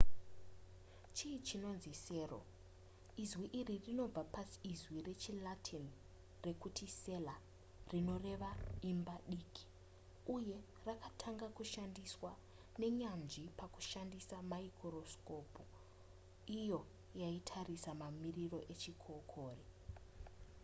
chii chinonzi sero izwi iri rinobva paizwi rechilatin rekuti cella rinoreva imba diki uye rakatanga kushandiswa nenyanzvi pakushandisa maikorosikopu iyo yaitarisa mamiriro echikokore